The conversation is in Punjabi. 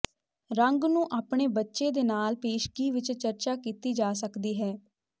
ਰੰਗ ਨੂੰ ਆਪਣੇ ਬੱਚੇ ਦੇ ਨਾਲ ਪੇਸ਼ਗੀ ਵਿੱਚ ਚਰਚਾ ਕੀਤੀ ਜਾ ਸਕਦੀ ਹੈ